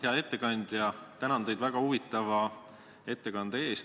Hea ettekandja, tänan teid väga huvitava ettekande eest!